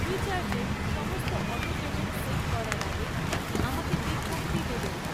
ফ্রিচার্জে সমস্ত autopayment set করার আগে আমাকে বিজ্ঞপ্তি দেবেন।